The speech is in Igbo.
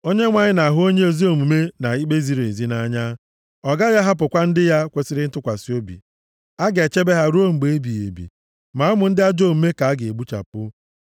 Onyenwe anyị na-ahụ onye ezi omume na ikpe ziri ezi nʼanya. Ọ gaghị ahapụkwa ndị ya kwesiri ntụkwasị obi. A ga-echebe ha ruo mgbe ebighị ebi, ma ụmụ ndị ajọ omume ka a ga-egbuchapụ;